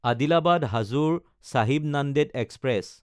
আদিলাবাদ–হাজোৰ Sahib Nanded express